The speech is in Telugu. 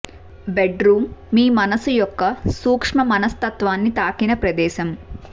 బెడ్ రూమ్ మీ మనస్సు యొక్క సూక్ష్మ మనస్తత్వాన్ని తాకిన ప్రదేశం